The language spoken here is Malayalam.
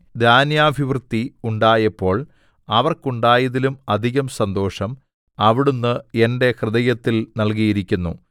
ധാന്യാ‍ഭിവൃദ്ധി ഉണ്ടായപ്പോൾ അവർക്കുണ്ടായതിലും അധികം സന്തോഷം അവിടുന്ന് എന്റെ ഹൃദയത്തിൽ നല്കിയിരിക്കുന്നു